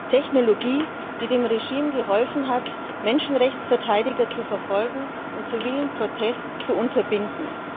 Technologie, die dem Regime geholfen hat, Menschenrechtsverteidiger zu verfolgen und zivilen Protest zu unterbinden.